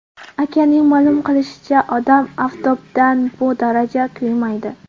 Akaning ma’lum qilishicha, odam oftobdan bu darajada kuymaydi.